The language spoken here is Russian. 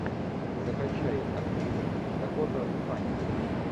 закачай актриса дакота фаннинг